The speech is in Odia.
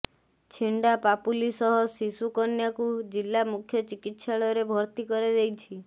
ଛିଣ୍ଡା ପାପୁଲି ସହ ଶିଶୁ କନ୍ୟାକୁ ଜିଲ୍ଲା ମୁଖ୍ୟ ଚିକିତ୍ସାଳୟରେ ଭର୍ତ୍ତି କରାଯାଇଛି